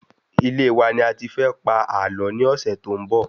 Ilé wa ni a ti fẹ pa àlọ́ ni ọsẹ to n bo